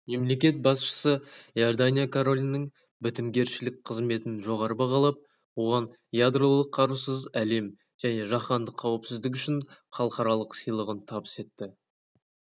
мемлекет басшысы иордания королінің бітімгершілік қызметін жоғары бағалап оған ядролық қарусыз әлем және жаһандық қауіпсіздік үшін халықаралық сыйлығын табыс етті